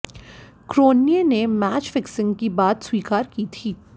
Cronje ने match fixing की बात स्वीकार की थी